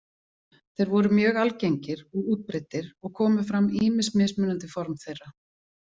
Þeir voru mjög algengir og útbreiddir og komu fram ýmis mismunandi form þeirra.